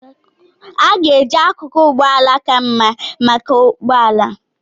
A ga-eji akụkụ ụgbọ ala ka mma maka ụgbọ ala.